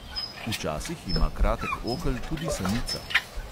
Včasih ima kratek okel tudi samica.